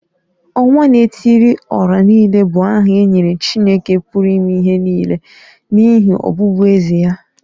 Onwa-na-etili-ora-niile bụ aha e nyere Chineke pụrụ ime ihe nile n’ihi ọbụbụeze ya.